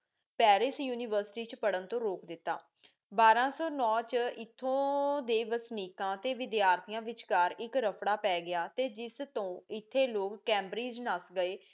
Paris university ਪਰ੍ਹਨ ਤੋ ਰੋਕ ਦਿਤਾ ਬਾਰਾ ਸੋ ਨੋ ਚ ਏਥੋਂ ਦੇ ਵਿਦਿਆਰਥੀਆਂ ਵਿਚਕਾਰ ਇਕ ਰਾਫੜਾ ਪੈ ਗਿਆ ਤੇ ਜਿਸ ਤੋਂ ਏਥੀ ਲੋਕ ਕੈਮ੍ਬ੍ਰਿਦ੍ਗੇ ਨਾਸ ਗਏ